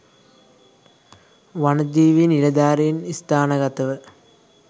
වනජීවි නිලධාරින් ස්ථානගතව